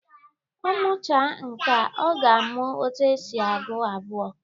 Ọ muchaa nkea, ọ ga-amụ etu esi agụ abụọ